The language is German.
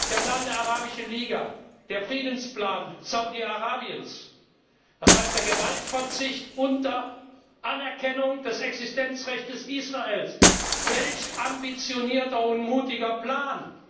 Der Plan der Arabischen Liga, der Friedensplan Saudi Arabiens, sieht Gewaltverzicht unter Anerkennung des Existenzrechts Israels vor welch ambitionierter und mutiger Plan!